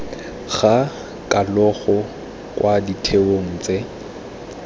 ga kalogo kwa ditheong tse